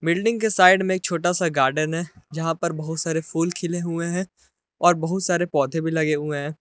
Building के side में एक छोटा सा गार्डन है यहां पर बहुत सारे फूल खिले हुए हैं और बहुत सारे पौधे भी लगे हुए हैं।